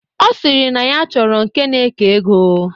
Ọ sịrị na ya chọrọ nke na-eke ego.